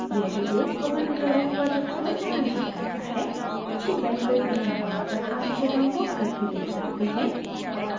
यह video spoken tutorial project को सारांशित करता है